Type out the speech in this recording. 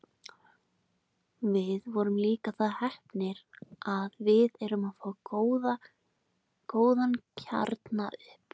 Við erum líka það heppnir að við erum að fá góðan kjarna upp.